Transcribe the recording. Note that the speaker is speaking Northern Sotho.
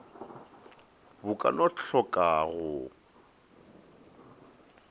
bo ka no tlhoka go